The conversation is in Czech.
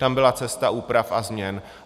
Tam byla cesta úprav a změn.